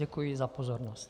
Děkuji za pozornost.